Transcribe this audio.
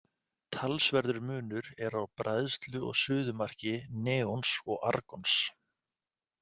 Talsverður munur er á bræðslu og suðumarki neons og argons.